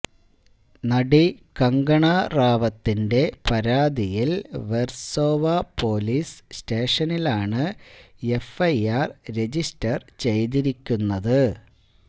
നടി കങ്കണ റാവത്തിന്റെ പരാതിയില് വെര്സോവ പോലീസ് സ്റ്റേഷനിലാണ് എഫ്ഐആര് രജിസ്റ്റര് ചെയ്തിരിക്കുന്നത്